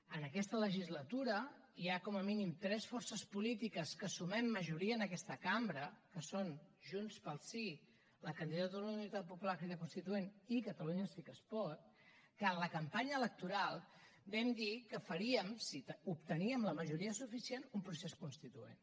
en aquesta legislatura hi ha com a mínim tres forces polítiques que sumem majoria en aquesta cambra que són junts pel sí la candidatura d’unitat popular crida constituent i catalunya sí que es pot que en la campanya electoral vam dir que faríem si obteníem la majoria suficient un procés constituent